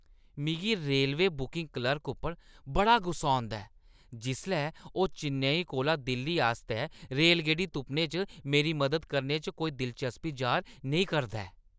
मिगी railway booking clerk उप्पर बड़ा गुस्सा औंदा ऐ जिसलै ओह् चेन्नई कोला दिल्ली आस्तै रेलगड्डी तुप्पने च मेरी मदद करने च कोई दिलचस्पी जाह्‌र नेईं करदा ऐ।